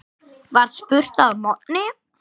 var spurt að morgni.